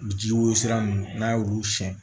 Ji woro sira ninnu n'a y'olu siɲɛ